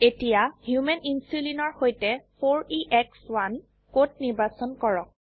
এতিয়া human insulin এৰ সৈতে 4এশ1 কোড নিৰ্বাচন কৰক